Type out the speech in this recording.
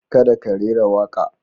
Kada ka rera waƙa.